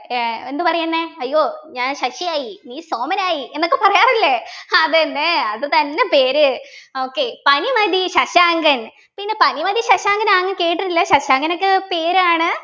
ഏർ എന്തു പറയുന്നെ അയ്യോ ഞാൻ ശശിയായി നീ സോമനായി എന്നൊക്കെ പറയാറില്ലേ അതെന്നെ അതുതന്നെ പേര് okay പനിമതി ശശാങ്കൻ പിന്നെ പനിമതി ശശാങ്കൻ അങ് കേട്ടിട്ടില്ലേ ശശാങ്കൻ ഒക്കെ പേരാണ്